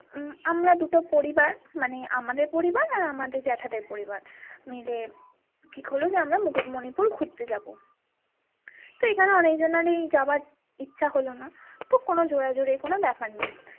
উম আমরা দুটো পরিবার মানে আমাদের পরিবার আর আমাদের জ্যাঠাদের পরিবার মিলে ঠিক হল যে আমরা মুকুট মণিপুর ঘুরতে যাবো তো এখানে অনেক জনেরই যাবার ইচ্ছা হলোনা তো কোনো জোরাজুরির কোনো ব্যাপার নেই।